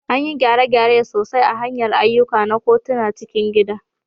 Anyi gyare-gyare sosai a hanyar ayyuka na kotun cikin gida